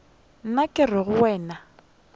nna ke re go wena